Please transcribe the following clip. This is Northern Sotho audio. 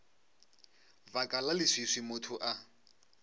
baka la leswiswi motho a